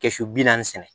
Kɛsu bi naani